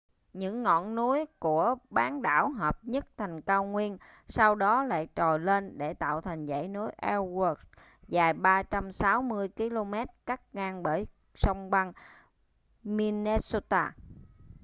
những ngọn núi của bán đảo hợp nhất thành cao nguyên sau đó lại trồi lên để tạo thành dãy núi ellsworth dài 360 km cắt ngang bởi sông băng minnesota